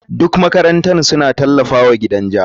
Duk makarantar suna tallafawa gidan ja.